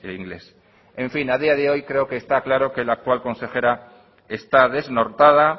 inglés en fin a día de hoy creo que está claro que la actual consejera está desnortada